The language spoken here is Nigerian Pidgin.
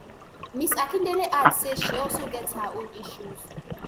ms akindele add say she also get her own issues